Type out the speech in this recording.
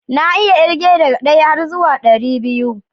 Na iya irge daga ɗaya har zuwan ɗaribiyu